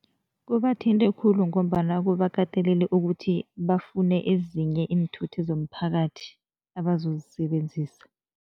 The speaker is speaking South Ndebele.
Kubathinte khulu ngombana kubakatelele ukuthi bafune ezinye iinthuthi zomphakathi abazozisebenzisa.